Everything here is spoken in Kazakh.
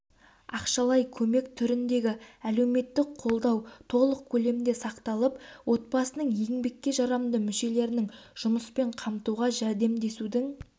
ақшалай көмек түріндегі әлеуметтік қолдау толық көлемде сақталып отбасының еңбекке жарамды мүшелерінің жұмыспен қамтуға жәрдемдесудің